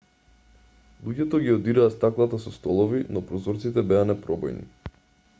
луѓето ги удираа стаклата со столови но прозорците беа непробојни